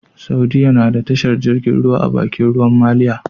Saudiya nada tashar jirgin ruwa a Bakin ruwan maliya